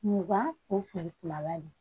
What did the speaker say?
Mugan o kun bɛ kumaba de ye